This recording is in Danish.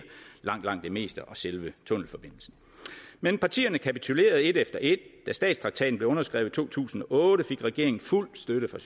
langt langt det meste og selve tunnelforbindelsen men partierne kapitulerede et efter et da statstraktaten blev underskrevet i to tusind og otte fik regeringen fuld støtte fra